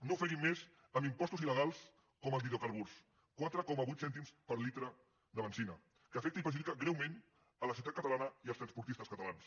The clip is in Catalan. no ofeguin més amb impostos il·legals com el d’hi·drocarburs quatre coma vuit cèntims per litre de benzina que afec·ta i perjudica greument la societat catalana i els trans·portistes catalans